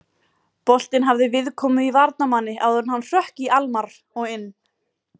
Boltinn hafði viðkomu í varnarmanni áður en hann hrökk í Almarr og inn.